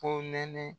Ko nɛnɛ